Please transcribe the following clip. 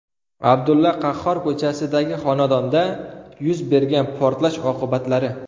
Abdulla Qahhor ko‘chasidagi xonadonda yuz bergan portlash oqibatlari.